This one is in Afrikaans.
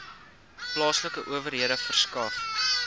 plaaslike owerhede verskaf